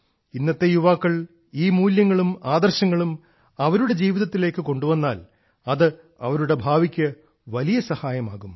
ഇന്നത്തെ യുവാക്കൾ ഈ മൂല്യങ്ങളും ആദർശങ്ങളും അവരുടെ ജീവിതത്തിലേക്ക് കൊണ്ടുവന്നാൽ അത് അവരുടെ ഭാവിക്ക് വലിയ സഹായകമാകും